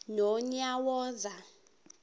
nonyawoza